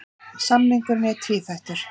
Samningurinn er tvíþættur